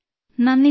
നന്ദി സർ